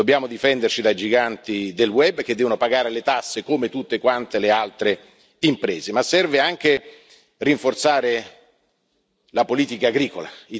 Dobbiamo difenderci dai giganti del web che devono pagare le tasse come tutte le altre imprese, ma serve anche rinforzare la politica agricola.